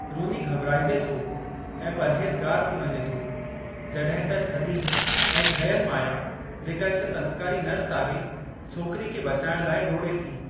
रूनी घॿराइजे थो ऐं परहेज़गारु थी वञे थो जॾहिं त थधी ऐं ठहियल माया जेका हिकु संस्कारी नर्स आहे छोकिरी खे बचाइणु लाइ डोड़े थी।